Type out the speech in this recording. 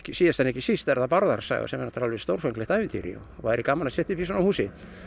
síðast en ekki síst er það Bárðar saga sem er stórfenglegt ævintýri og væri gaman að setja upp í svona húsi